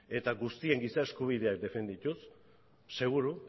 eta guztien giza eskubideak defendatuz seguru